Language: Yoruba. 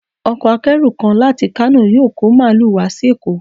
Ọkọ̀ akẹ́rù kan láti Kano yóò kọ́ Màálù wá sí Èkó.